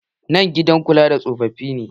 Nan gidan kula da tsofafi ne.